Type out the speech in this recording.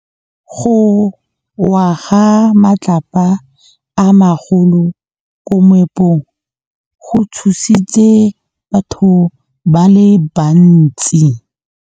Go wa ga matlapa a magolo ko moepong go tshositse batho ba le bantsi.